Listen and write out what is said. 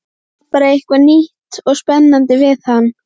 Það var bara eitthvað nýtt og spennandi við hann.